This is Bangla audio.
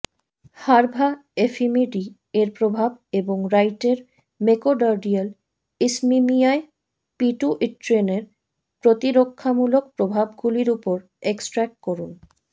হার্ভা এফিমিডি এর প্রভাব এবং রাইটের মেকোডার্ডিয়াল ইশ্মিমিয়ায় পিটুইট্রিনের প্রতিরক্ষামূলক প্রভাবগুলির উপর এক্সট্র্যাক্ট করুন